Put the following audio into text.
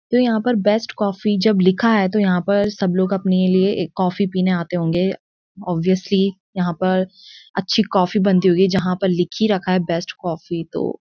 तो यहाँ पर बेस्ट कॉफी जब लिखा है तो यहाँ पर सब लोग अपने लिए एक कॉफी पीने आते होंगे ऑब्वियसली यहाँ पर अच्छी कॉफी बनती होगी जहाँ पर लिखी रखा बेस्ट कॉफी तो --